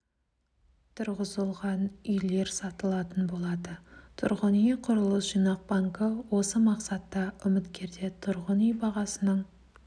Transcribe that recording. тұрғызылған үйлер сатылатын болады тұрғын үй құрылыс жинақ банкі осы мақсатта үміткерде тұрғын үй бағасының